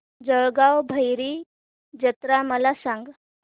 जळगाव भैरी जत्रा मला सांग